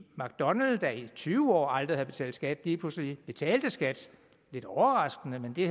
mcdonalds der i tyve år aldrig havde betalt skat betalte lige pludselig skat lidt overraskende men det